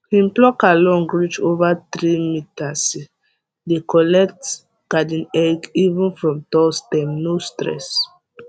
him plucker long reach over three meterse dey collect garden egg even from tall stem no stress